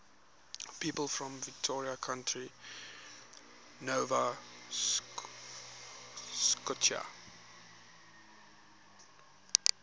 people from victoria county nova scotia